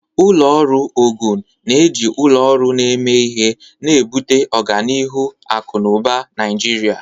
Ụlọ ọrụ Ogun na-eji ụlọ ọrụ na-eme ihe, na-ebute ọganihu akụ na ụba Naijiria.